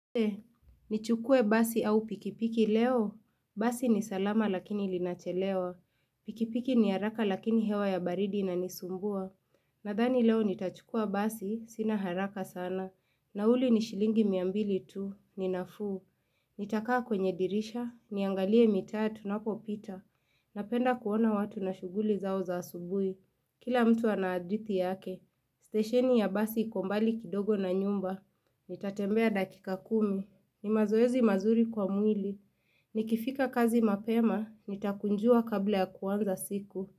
Nichukue basi au pikipiki leo. Basi ni salama lakini linachelewa. Pikipiki ni haraka lakini hewa ya baridi inanisumbua. Nadhani leo nitachukua basi, sina haraka sana. Nauli ni shilingi mia mbili tu, ni nafuu. Nitakaa kwenye dirisha, niangalie mitaa tunapopita. Napenda kuona watu na shuguli zao za asubui. Kila mtu ana hadithi yake, stesheni ya basi iko mbali kidogo na nyumba, nitatembea dakika kumi, ni mazoezi mazuri kwa mwili, nikifika kazi mapema, nitakunjua kabla ya kuanza siku.